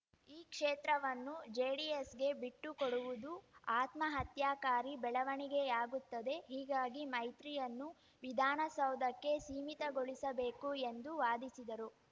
ಈ ಕ್ಷೇತ್ರವನ್ನು ಜೆಡಿಎಸ್‌ಗೆ ಬಿಟ್ಟುಕೊಡುವುದು ಆತ್ಮಹತ್ಯಾಕಾರಿ ಬೆಳವಣಿಗೆಯಾಗುತ್ತದೆ ಹೀಗಾಗಿ ಮೈತ್ರಿಯನ್ನು ವಿಧಾನಸೌಧಕ್ಕೆ ಸೀಮಿತಗೊಳಿಸಬೇಕು ಎಂದು ವಾದಿಸಿದರು